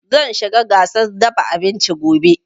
Zan shiga gasar dafa abinci gobe